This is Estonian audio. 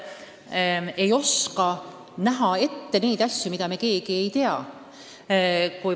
See, et me ei oska näha ette asju, mida me keegi praegu ei tea.